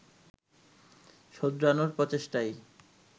শোধরানোর প্রচেষ্টাই